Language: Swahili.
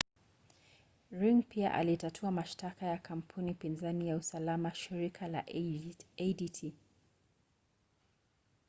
ring pia alitatua mashtaka ya kampuni pinzani ya usalama shirika la adt